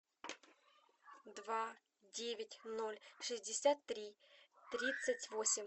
два девять ноль шестьдесят три тридцать восемь